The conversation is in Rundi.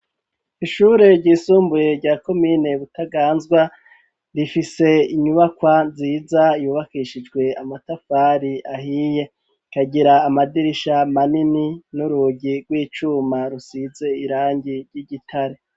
ishure ry'isumbuye rya komine butaganzwa, rifise inyubakwa nziza yubakishijwe amatafari ahiy,e kagira amadirisha manini ,n'urugi rw'icuma rusize irangi ry'igitare.